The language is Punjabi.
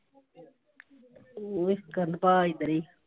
ਨਿੱਕਣ ਤੇਰੀ।